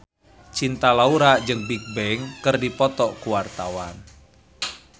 Cinta Laura jeung Bigbang keur dipoto ku wartawan